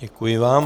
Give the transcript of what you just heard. Děkuji vám.